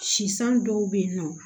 Sisan dɔw bɛ yen nɔ